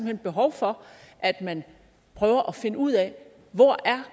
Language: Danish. er behov for at man prøver at finde ud af hvor